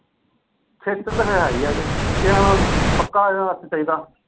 ਖੇਚਲ ਤਾਂ ਹੈ ਹੀ ਹੈ ਜੇ ਇੱਕ ਜਣਾ ਪੱਕਾ ਇਹਦੇ ਵਾਸਤੇ ਚਾਹੀਦਾ।